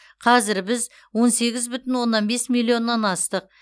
қазір біз он сегіз бүтін оннан бес миллионнан астық